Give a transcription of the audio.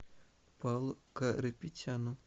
павлу карапетяну